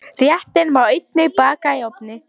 Réttinn má einnig baka í ofni.